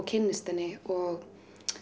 kynnist henni og